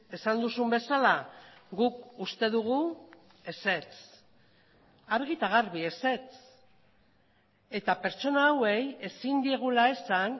esan duzun bezala guk uste dugu ezetz argi eta garbi ezetz eta pertsona hauei ezin diegula esan